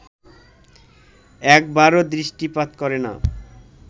একবারও দৃষ্টিপাত করে না